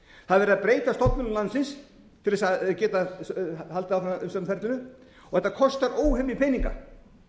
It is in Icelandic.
það er verið að breyta stofnunum landsins til þess að geta haldið áfram umsóknarferlinu og þetta kostar óhemju peninga